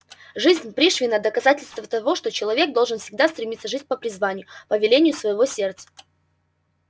жизнь пришвина доказательство того что человек должен всегда стремиться жить по призванию по велению своего сердца